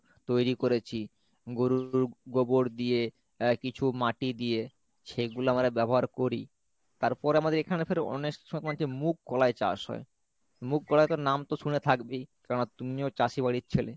তৈরী কোরেছি গরুর গোবর দিয়ে আহ কিছু মাটি দিয়ে সেগুলা আমরা ব্যবহার করি তারপরে আমাদের এখানে অনেক সময় হচ্ছে মুগ কলাই চাষ হয় মুগ কোলাই তো নামতো শুনে থাকবেই কারণ তুমিও চাষী বাড়ির ছেলে